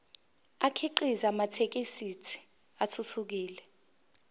akhiqize amathekisthi athuthukile